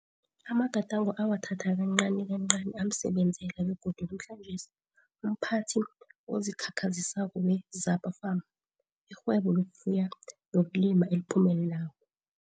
Amagadango awathatha kancanikancani amsebenzela begodu namhlanjesi, umphathi ozikhakhazisako we-Zapa Farm, irhwebo lokufuya nokulima eliphumelelako.